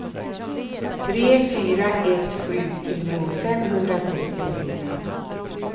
tre fyra ett sju tio femhundrasextiofyra